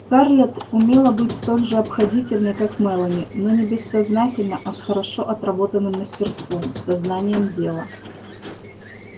скарлетт умела быть столь же обходительной как мелани но не бессознательно а с хорошо отработанным мастерством со знанием дела